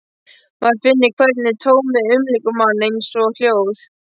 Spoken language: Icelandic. Maður finnur hvernig tómið umlykur mann, eins og hljóð.